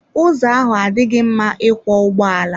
Ụzọ ahụ adịghị mma ịkwọ ụgbọala.